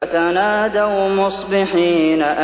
فَتَنَادَوْا مُصْبِحِينَ